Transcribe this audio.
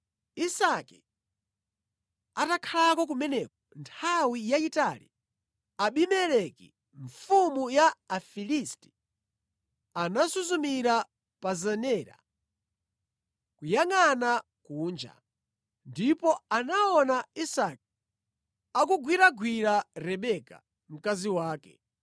Isake atakhalako kumeneko nthawi yayitali, Abimeleki mfumu ya Afilisti, anasuzumira pa zenera kuyangʼana kunja, ndipo anaona Isake akugwiragwira Rebeka, mkazi wake.